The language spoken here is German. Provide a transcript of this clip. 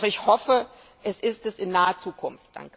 Doch ich hoffe, es ist es in naher Zukunft.